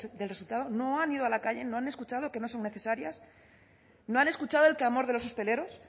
del resultado no han ido a la calle no han escuchado que no son necesarias no han escuchado el clamor de los hosteleros